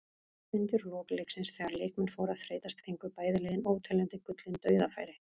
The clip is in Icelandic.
Undir lok leiksins þegar leikmenn fóru að þreytast fengu bæði lið óteljandi gullin dauðafæri.